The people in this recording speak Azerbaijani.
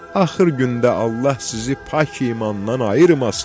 Axır gündə Allah sizi pak imandan ayırmasın.